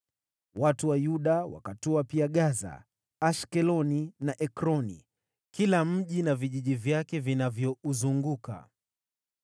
Watu wa Yuda wakatwaa pia Gaza, Ashkeloni na Ekroni, kila mji na vijiji vyake vinavyouzunguka.